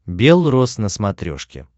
белрос на смотрешке